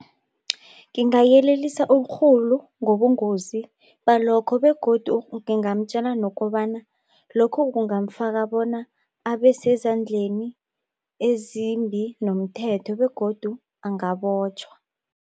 Ngingayelelisa urhulu ngobungozi balokho begodu ngingamtjela nokobana lokhu kungamfaka bona abe sezandleni ezimbi nomthetho begodu angabotjhwa.